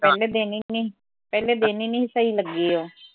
ਪਹਿਲੇ ਦਿਨ ਈ ਨੀ ਪਹਿਲੇ ਦਿਨ ਈ ਨਈ ਸੀ ਸਹੀ ਲੱਗੀ ਓਹ